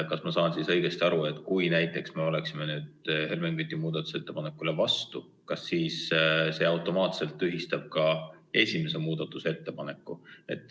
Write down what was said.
Kas ma saan õigesti aru, et kui me oleksime nüüd Helmen Küti muudatusettepanekule vastu hääletanud, siis see automaatselt tühistaks esimese muudatusettepaneku?